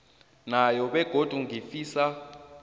yona begodu ngifisa